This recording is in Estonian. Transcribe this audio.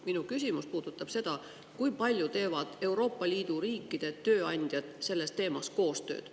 Minu küsimus puudutab seda, kui palju teevad Euroopa Liidu riikide tööandjad sellel teemal koostööd.